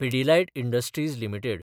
Pidilite industries limited